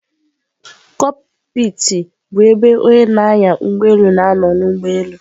Kokpiti bụ ebe onye na-anya ụgbọelu na-anọ n'ụgbọelu.